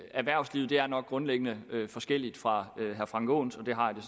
erhvervslivet er nok grundlæggende forskelligt fra herre frank aaens og det har jeg